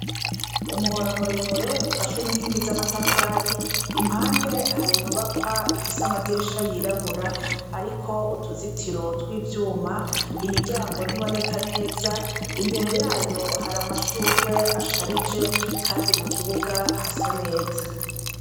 Umuhora murere ufashwe n’inkingi z’amatafari, impande hari inyubakwa zifise amadirisha yirabura ariko utuzitiro tw’ivyuma, imiryango ntiboneka neza imbere yayo hari amashurwe asharije kandi mu kibuga hasa neza.